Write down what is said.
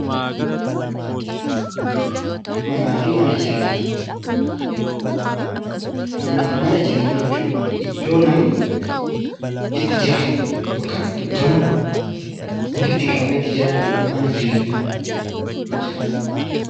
Manaafi mana jireenyaa, manaafi mana jireenyaa jechuun iddoo namni itti jiraatu yookaan iddoo namni walitti qabamee itti jiraatu mana jireenyaa jedhama.